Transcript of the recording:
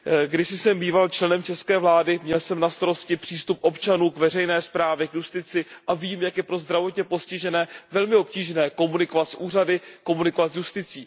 Kdysi jsem býval členem české vlády, měl jsem na starosti přístup občanů k veřejné správě, k justitici a vím, jak je pro zdravotně postižené velmi obtížné komunikovat s úřady, komunikovat s justicí.